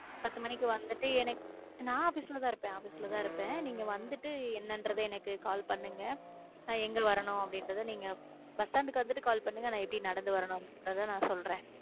பத்து மணிக்கு வந்துட்டு எனக்~ நா office ல தான் இருப்பேன் office ல தான் இருப்பேன் நீங்க வந்துட்டு. என்ன என்று எனக்கு கால் பண்ணுங்க நான் எங்க வரணும் அப்படின்றது நீங்க bus stand க்கு வந்துட்டு கால் பண்ணுங்க நான் எப்படி நடந்து வரணும்னு நுங்குரத சொல்றேன்